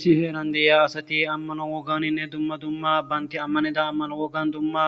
Issi heeran deiya asati ammano wogganinne dumma dumma baynti ammanida ammano woggan dumma